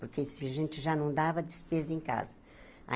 Porque se a gente já não dava, despesa em casa.